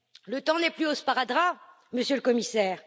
Le temps n'est plus au sparadrap, Monsieur le Commissaire.